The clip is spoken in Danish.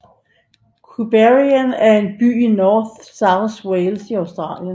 Queanbeyan er en by i New South Wales i Australien